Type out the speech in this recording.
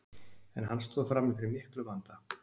En hann stóð frammi fyrir miklum vanda.